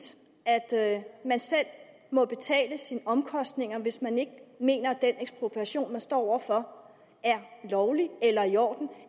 at man selv må betale sine omkostninger hvis man ikke mener at den ekspropriation man står over for er lovlig eller i orden